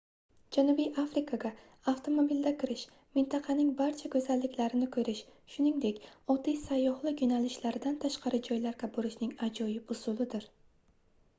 janubiy afrikaga avtomobilda kirish mintaqaning barcha goʻzalliklarini koʻrish shuningdek oddiy sayyohlik yoʻnalishlaridan tashqari joylarga borishning ajoyib usulidir